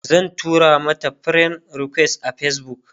zan tura mata friend request a Facebook